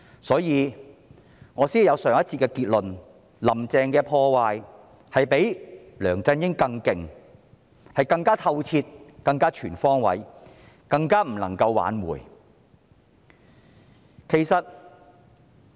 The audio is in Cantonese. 所以，我才有上一節的結論，那就是"林鄭"的破壞比梁振英更厲害，更透徹、更全方位，更加不能夠挽回。